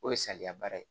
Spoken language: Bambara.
O ye saliya baara ye